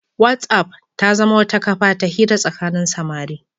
Whatsapp ta zama wata kafa ta hira tsakanin samari.